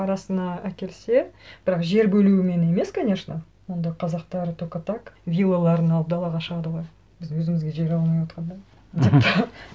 арасына әкелсе бірақ жер бөлуімен емес конечно онда қазақтар только так вилаларын алып далаға шығады ғой біз өзімізге жер алмай отырғанда деп